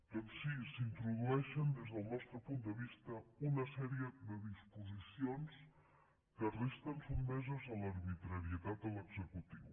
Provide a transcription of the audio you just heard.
doncs sí s’introdueixen des del nostre punt de vista una sèrie de disposicions que resten sotmeses a l’arbitrarietat de l’executiu